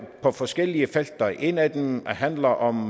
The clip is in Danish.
på forskellige felter et af dem handler om